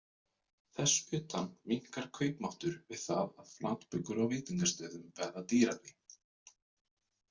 Þess utan minnkar kaupmáttur við það að flatbökur á veitingastöðum verða dýrari.